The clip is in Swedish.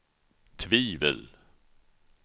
tvivel